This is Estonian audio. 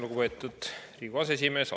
Lugupeetud Riigikogu aseesimees!